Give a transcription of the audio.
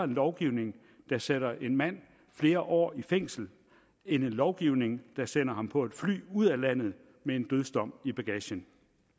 lovgivning der sætter en mand flere år i fængsel end en lovgivning der sender ham på et fly ud af landet med en dødsdom i bagagen